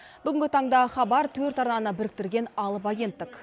бүгінгі таңда хабар төрт арнаны біріктірген алып агенттік